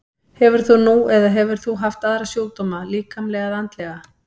Hefur þú nú eða hefur þú haft aðra sjúkdóma, líkamlega eða andlega?